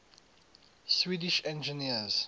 swedish engineers